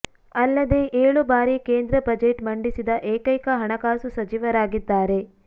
ಅಲ್ಲದೇ ಏಳು ಬಾರಿ ಕೇಂದ್ರ ಬಜೆಟ್ ಮಂಡಿಸಿದ ಏಕೈಕ ಹಣಕಾಸು ಸಚಿವರಾಗಿದ್ದಾರೆ